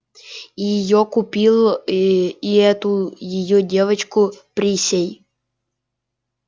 и её купил и эту её девчонку присей